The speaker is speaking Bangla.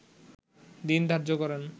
দিন ধার্য করেন